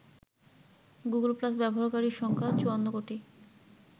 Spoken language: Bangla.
গুগলপ্লাস ব্যবহারকারীর সংখ্যা ৫৪ কোটি।